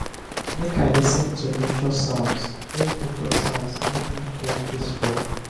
make i lis ten to nature sounds make nature sounds make me feel peaceful